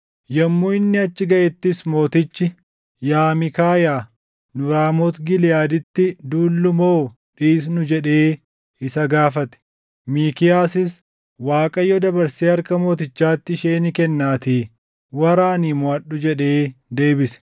Yommuu inni achi gaʼettis mootichi, “Yaa Miikaayaa, nu Raamooti Giliʼaaditti duullu moo dhiisnu?” jedhee isa gaafate. Miikiyaasis, “ Waaqayyo dabarsee harka mootichaatti ishee ni kennaatii waraanii moʼadhu” jedhee deebise.